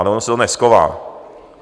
Ale ono se to neschová.